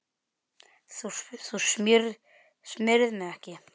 Þú smyrð mig ekki.